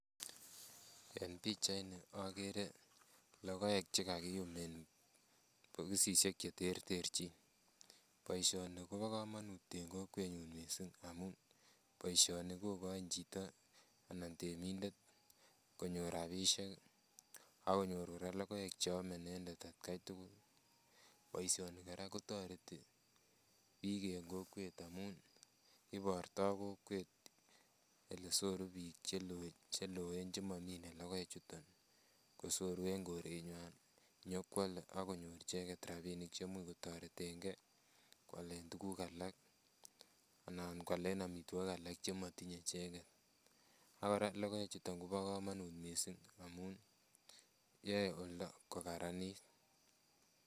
En pichait ni okere logoek chekakiyum en bokosisiek cheterterchin, boisioni kobo komonut en kokwet nyun missing amun boisioni kokoin chito anan temindet konyor rapisiek akonyor kora logoek cheome inendet atkai tugul. Boisioni kora kotoreti biik en kokwet amun ibortoo kokwet elesoru biik cheloen chemomine logoek chuton kosoru en korenywan nyokoalda ak konyor icheket rapinik cheimuch kotoretengee koalen tuguk alak anan koalen amitwogik alak chemotinye icheket. Ak kora logoek chuton kobo komonut missing amun yoe oldo kokaranit